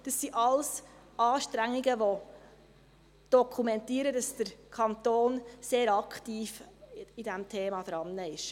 Das sind alles Anstrengungen, die dokumentieren, dass der Kanton bei diesem Thema sehr aktiv ist.